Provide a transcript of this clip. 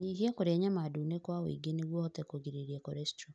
Nyihia kũrĩa nyama ndune kwa ũingĩ nĩguo ũhote kũgirĩrĩria korestrol.